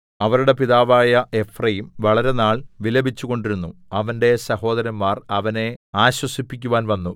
അവരുടെ പിതാവായ എഫ്രയീം വളരെനാൾ വിലപിച്ചുകൊണ്ടിരുന്നു അവന്റെ സഹോദരന്മാർ അവനെ ആശ്വസിപ്പിക്കുവാൻ വന്നു